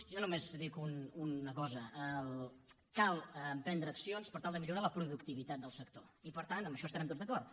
jo només dic una cosa cal emprendre accions per tal de millorar la productivitat del sector i per tant en això hi estarem tots d’acord